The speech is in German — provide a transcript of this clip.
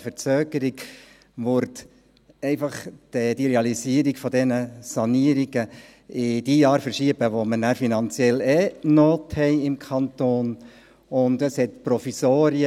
Eine Verzögerung würde die Realisierung der Sanierung in jene Jahre verschieben, in denen wir im Kanton sowieso eine Not haben.